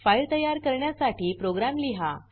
file तयार करण्यासाठी program लिहा